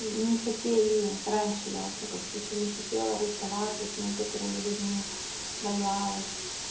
не хотели раньше я во всяком случае не хотела расставаться с некоторыми людьми боялась